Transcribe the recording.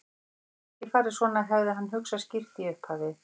Þetta hefði ekki farið svona, hefði hann hugsað skýrt í upphafi.